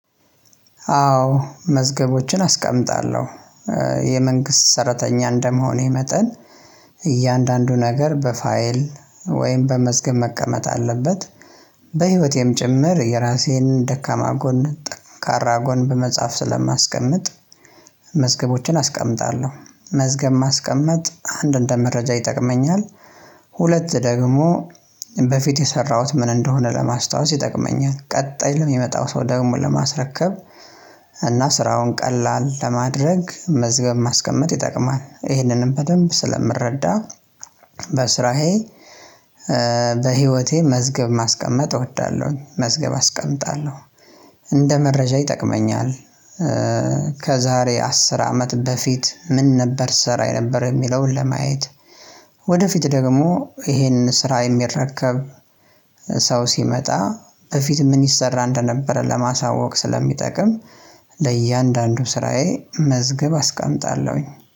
አዎ መዝገቦችን አስቀምጣለሁ የመንግስት ሰራተኛ እንደመሆኔ መጠን እያንዳንዱ ነገር በፋይል ወይም በመዝገብ መቀመጥ አለበት። በህይወቴም ጭምር የራሴን ደካማ ጎን ጠንካራ ጎን በመጽሐፍ ስለማስቀምጥ መስገቦችን አስቀምጣለሁ መዝገብ ማስቀመጥ አንድ እንደ መረጃ ይጠቅመኛል። ሁለት ደግሞ በፊት የሰራሁት ምን እንደሆነ ለማስታወስ ይጠቅመኛል ቀጣይ ለሚመጣው ሰው ደግሞ ለማስረከብ። እና ስራውን ቀላል ለማድረግ መዝገብ ማስቀመጥ ይጠቅማል። ይህንንም በደንብ ስለምረዳ በስራዬ በህይወቴ መዝገብ ማስቀመጥ እወዳለሁኝ። መዝገብ አስቀምጣለሁ እንደ መረጃ ይጠቅመኛል። ከዛሬ አስር አመት በፊት ምን ነበር ስራ የነበረ የሚለውን ለማየት። ወደፊት ደግሞ ይሄንን ስራ የሚረከብ ሰው ሲመጣ በፊት ምን ይሰራ እንደነበረ ለማሳወቅ ስለሚጠቅም ለእያንዳንዱ ስራዬ መዝገብ አስቀምጣለሁኝ